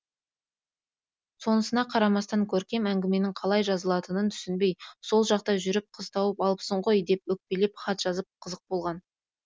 сонысына қарамастан көркем әңгіменің қалай жазылатынын түсінбей сол жақта жүріп қыз тауып алыпсың ғой деп өкпелеп хат жазып қызық болған